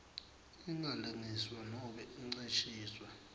ingalengiswa nobe incishiswe